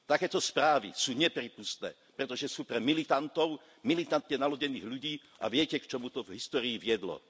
Takéto správy sú neprípustné, pretože sú pre militantov, militantne naladených ľudí a viete, k čomu to v histórii viedlo.